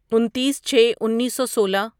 انتیس چھے انیسو سولہ